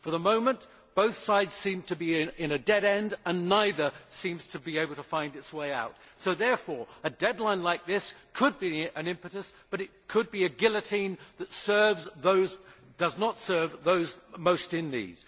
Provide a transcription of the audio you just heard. For the moment, both sides seem to be in a dead end and neither seems to be able to find its way out, so therefore a deadline like this could be an impetus, but it could be a guillotine that does not serve those most in need.